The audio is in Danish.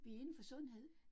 Vi indenfor sundhed